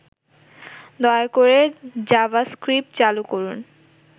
দয়া করে জাভাস্ক্রিপ্ট চালু করুন